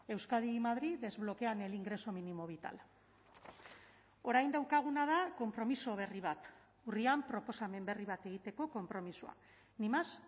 euskadi y madrid desbloquean el ingreso mínimo vital orain daukaguna da konpromiso berri bat urrian proposamen berri bat egiteko konpromisoa ni más